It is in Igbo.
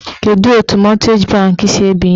Kedu etu mọtgeji bankị si ebinye ego?